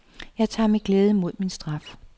Jeg tager med glæde imod min straf.